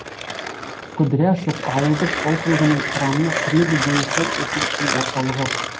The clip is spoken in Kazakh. кудряшов ауылдық округінің құрамына кіреді және сол округтің орталығы